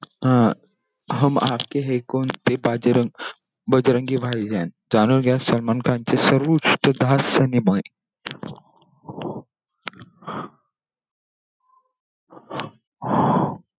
अह हम आपके है कौन आणि बाजीराव बजरंगी भाईजान यात जाणून घ्या, सलमान खान चे सर्वोत्कृष्ट